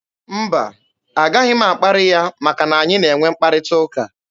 Mba, a gaghị m akparị ya maka na anyị na-enwe mkparịta ụka.